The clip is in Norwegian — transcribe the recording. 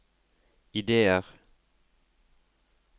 ideer